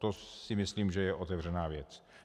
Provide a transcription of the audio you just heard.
To si myslím, že je otevřená věc.